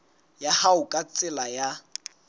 ya hao ka tsela ya